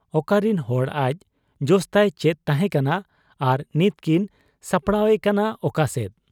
ᱚᱠᱟᱨᱤᱱ ᱦᱚᱲ ᱟᱡ ᱾ ᱡᱚᱥᱛᱟᱭ ᱪᱮᱫ ᱛᱟᱦᱮᱸ ᱠᱟᱱᱟ ᱟᱨ ᱱᱤᱛ ᱠᱤᱱ ᱥᱟᱯᱲᱟᱣ ᱮᱠᱟᱱᱟ ᱚᱠᱟᱥᱮᱫ ?